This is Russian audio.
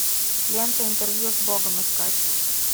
лента интервью с богом искать